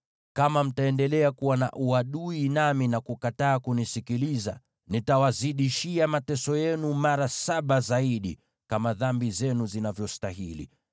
“ ‘Kama mtaendelea kuwa na uadui nami, na kukataa kunisikiliza, nitawazidishia mateso yenu mara saba zaidi, kama dhambi zenu zinavyostahili.